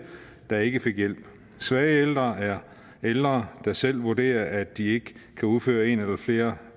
der ikke fik hjælp svage ældre er ældre der selv vurderer at de ikke kan udføre en eller flere